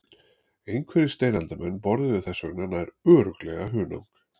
Einhverjir steinaldarmenn borðuðu þess vegna nær örugglega hunang.